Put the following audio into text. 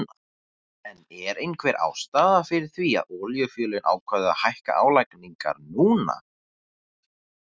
En er einhver ástæða fyrir því að olíufélögin ákváðu að hækka álagningar núna?